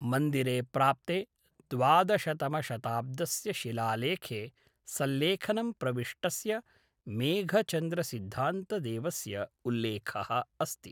मन्दिरे प्राप्ते द्वादशतमशताब्दस्य शिलालेखे सल्लेखनं प्रविष्टस्य मेघचन्द्रसिद्धान्तदेवस्य उल्लेखः अस्ति।